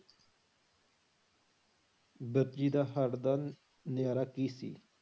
ਵਰਜੀ ਦਾ ਨਾਅਰਾ ਕੀ ਸੀ?